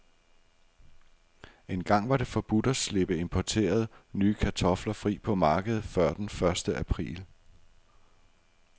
Engang var det forbudt at slippe importerede, nye kartofler fri på markedet før den første april.